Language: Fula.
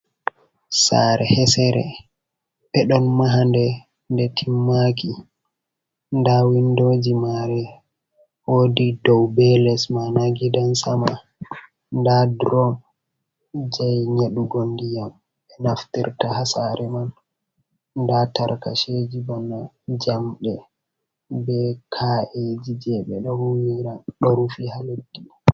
Sare hesere, ɓe ɗon mahande nde timmaki nda windoji mare wodi dow be les maana gidansama, nda durom jai nyaɗugo ndiyam ɓe naftirta ha sare man nda tarkaceji bana jamɗe be ka’eji je ɓeɗo huwira ɗo rufi ha leddi.